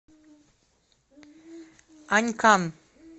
анькан